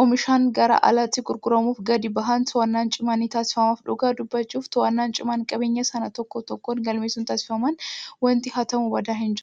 oomishamanii gara alaatti gurguramuuf gadi bahan to'annaan cimaan ni taasifama. Dhugaa dubbachuuf to'annaan cimaan qabeenyaa sana tokko tokkoon galmeessuun taasifamnaan wanti hatamu badaa hin jiraatu.